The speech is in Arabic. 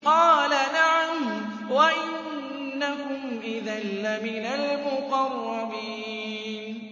قَالَ نَعَمْ وَإِنَّكُمْ إِذًا لَّمِنَ الْمُقَرَّبِينَ